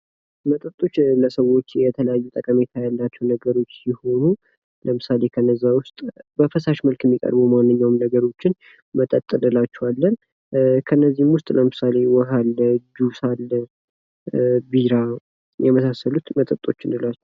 መጠጦች ለሰዎች የተለያዩ ጠቀሜታ ያላቸው ሲሆኑ ለምሳሌ ከነዚያ ውስጥ በፈሳሽ መልክ የሚቀርቡ ማንኛዉም ነገሮችን መጠጥ እንላቸዋለን። ከነዚህም ውስጥ ለምሳሌ ውሃ አለ፤ ጁስ አለ፤ ቢራ የመሳሰሉት መጠጥ እንላቸዋለን።